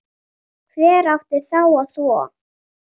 Hver átti þá að þvo?